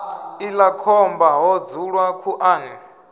iḽla khomba ho dzulwa khuḓani